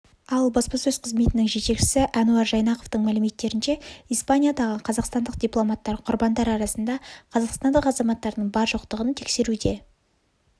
ал баспасөз қызметінің жетекшісі әнуар жайнақовтың мәліметтерінше испаниядағы қазақстандық дипломаттар құрбандар арасында қазақстандық азаматтардың бар-жоқтығын тексеруде